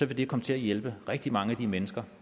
det komme til at hjælpe rigtig mange af de mennesker